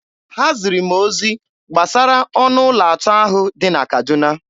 Ha ziri m ozi gbasara ọnụ ụlọ atọ ahụ dị na Kaduna.